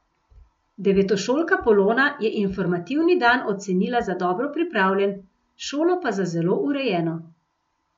Devetošolka Polona je informativni dan ocenila za dobro pripravljen, šolo pa za zelo urejeno.